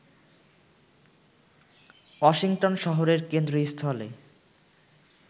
Washington শহরের কেন্দ্রস্থলে